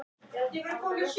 í henni